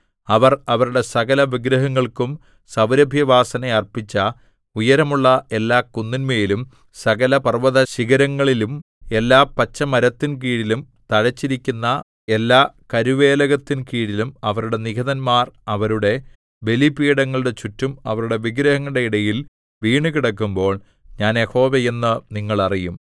അവർ അവരുടെ സകലവിഗ്രഹങ്ങൾക്കും സൗരഭ്യവാസന അർപ്പിച്ച ഉയരമുള്ള എല്ലാ കുന്നിന്മേലും സകല പർവ്വതശിഖരങ്ങളിലും എല്ലാ പച്ചമരത്തിൻകീഴിലും തഴച്ചിരിക്കുന്ന എല്ലാ കരുവേലകത്തിൻകീഴിലും അവരുടെ നിഹതന്മാർ അവരുടെ ബലിപീഠങ്ങളുടെ ചുറ്റും അവരുടെ വിഗ്രഹങ്ങളുടെ ഇടയിൽ വീണുകിടക്കുമ്പോൾ ഞാൻ യഹോവ എന്ന് നിങ്ങൾ അറിയും